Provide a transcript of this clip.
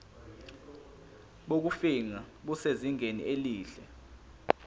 bokufingqa busezingeni elihle